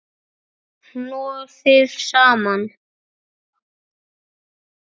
Hnoðið saman.